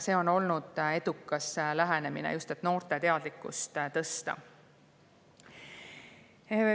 See on olnud edukas lähenemine, et just noorte teadlikkust tõsta.